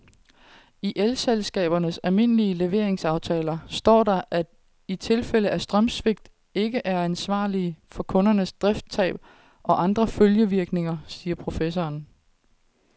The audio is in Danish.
I elselskabernes almindelige leveringsaftaler står der, at de i tilfælde af strømsvigt ikke er ansvarlig for kundernes driftstab og andre følgevirkninger, siger professoren.